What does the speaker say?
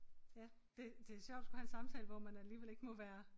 Ja det det sjovt at skulle have en samtale hvor man alligevel ikke må være